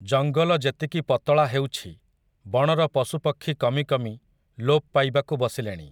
ଜଙ୍ଗଲ ଯେତିକି ପତଳା ହେଉଛି, ବଣର ପଶୁପକ୍ଷୀ କମି କମି, ଲୋପ୍ ପାଇବାକୁ ବସିଲେଣି ।